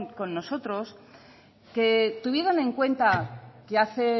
con nosotros que tuvieran en cuenta que hace